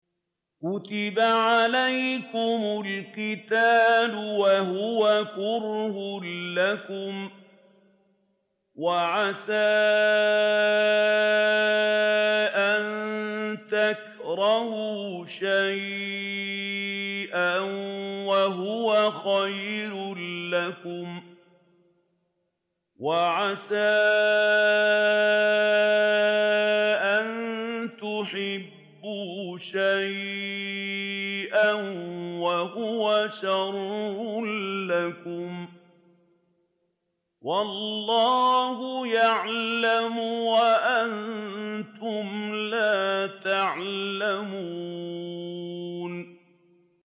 كُتِبَ عَلَيْكُمُ الْقِتَالُ وَهُوَ كُرْهٌ لَّكُمْ ۖ وَعَسَىٰ أَن تَكْرَهُوا شَيْئًا وَهُوَ خَيْرٌ لَّكُمْ ۖ وَعَسَىٰ أَن تُحِبُّوا شَيْئًا وَهُوَ شَرٌّ لَّكُمْ ۗ وَاللَّهُ يَعْلَمُ وَأَنتُمْ لَا تَعْلَمُونَ